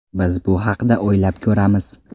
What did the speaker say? Biz bu haqda o‘ylab ko‘ramiz.